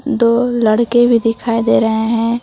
दो लड़के भी दिखाई दे रहे है।